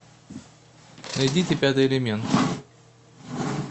найдите пятый элемент